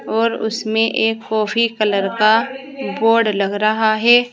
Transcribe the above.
और उसमें एक कॉफी कलर का बोर्ड लग रहा है।